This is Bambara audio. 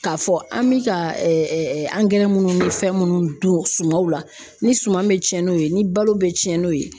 K'a fɔ an bɛ ka angɛrɛ minnu ni fɛn minnu dun sumanw la ni suman bɛ cɛn n'o ye ni balo bɛ cɛn n'o ye